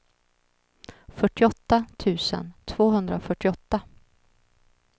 fyrtioåtta tusen tvåhundrafyrtioåtta